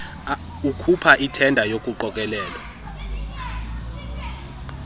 ukhupha ithenda yokuqokelelwa